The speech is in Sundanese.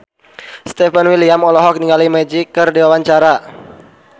Stefan William olohok ningali Magic keur diwawancara